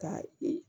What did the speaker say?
Ka i